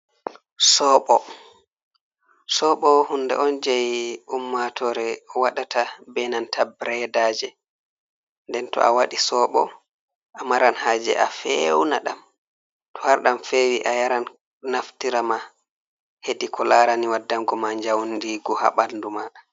Soɓo: Soɓo hunde on jei ummatore waɗata be nanta bredaje. Nden to awaɗi soɓo a maran haje a feuna ɗam. To har ɗam fewi, a yara. Naftira ma hedi ko larani waɗango ma jaundigo ha ɓandu ma.